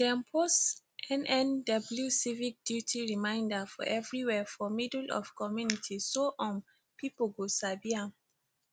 dem post nnw civic duty reminder for everywhere for middle of community so um pipu go sabi am